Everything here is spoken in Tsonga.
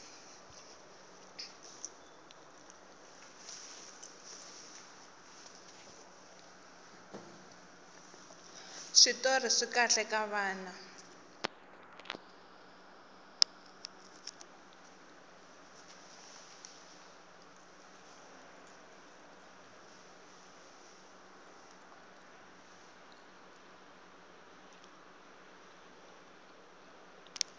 switori swikahle ka vana